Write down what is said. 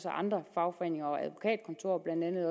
andre fagforeninger